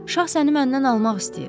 Şah səni məndən almaq istəyir.